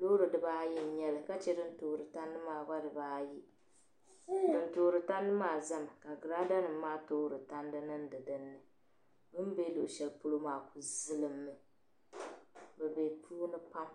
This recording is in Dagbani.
Loori dibaayi n-nyɛ ba ka che din toori tandi maa gba dibaayi. Din toori tandi maa zami ka giraadanima maa toori tandi niŋdi dinni. Bɛ ni be luɣishɛli polo maa ku zilimmi. Bɛ be puuni pam.